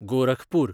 Gorakhpur